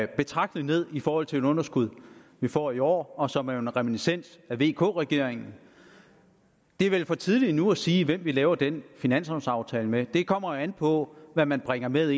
betragteligt ned i forhold til det underskud vi får i år og som jo er en reminiscens fra vk regeringen det er vel for tidligt endnu at sige hvem vi laver den finanslovaftale med det kommer an på hvad man bringer med